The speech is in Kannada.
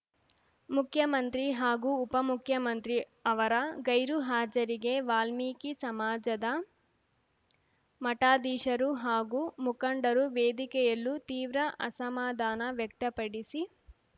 ಮುಖ್ಯಮಂತ್ರಿ ಹಾಗೂ ಉಪಮುಖ್ಯಮಂತ್ರಿ ಅವರ ಗೈರು ಹಾಜರಿಗೆ ವಾಲ್ಮೀಕಿ ಸಮಾಜದ ಮಠಾಧೀಶರು ಹಾಗೂ ಮುಖಂಡರು ವೇದಿಕೆಯಲ್ಲೂ ತೀವ್ರ ಅಸಮಾಧಾನ ವ್ಯಕ್ತಪಡಿಸಿ